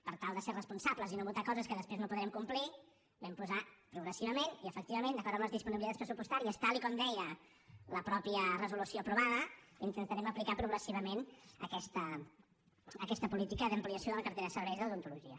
per tal de ser responsables i no votar coses que després no podrem complir hi vam posar progressivament i efectivament d’acord amb les disponibilitats pressupostàries tal com deia la mateixa resolució aprovada intentarem aplicar progressivament aquesta política d’ampliació de la cartera de serveis d’odontologia